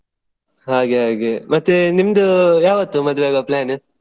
ಹಾಗೆ ಹಾಗೆ ಮತ್ತೆ ನಿಮ್ದು ಯಾವತ್ತು ಮದುವೆ ಆಗೋ plan .